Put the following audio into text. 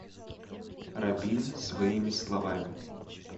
рабин своими словами